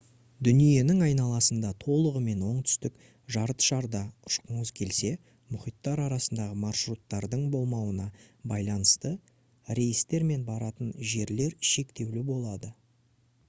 дүниенің айналасында толығымен оңтүстік жартышарда ұшқыңыз келсе мұхиттар арасындағы маршруттардың болмауына байланысты рейстер мен баратын жерлер шектеулі болады